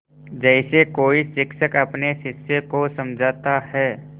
जैसे कोई शिक्षक अपने शिष्य को समझाता है